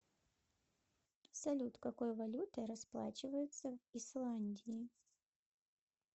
салют какой валютой расплачиваются в исландии